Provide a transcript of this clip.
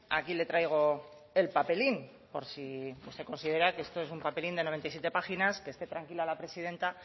aquí le traigo el papelín por si usted considera que esto es un papelín de noventa y siete páginas que esté tranquila la presidenta